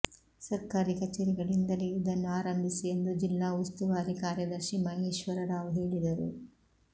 ಸರ್ಕಾರಿ ಕಚೇರಿಗಳಿಂದಲೇ ಇದನ್ನು ಆರಂಭಿಸಿ ಎಂದು ಜಿಲ್ಲಾ ಉಸ್ತುವಾರಿ ಕಾರ್ಯದರ್ಶಿ ಮಹೇಶ್ವರ ರಾವ್ ಹೇಳಿದರು